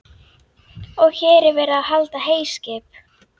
Og hér er verið að hlaða heyskip.